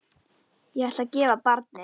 Ég ætla að gefa barnið.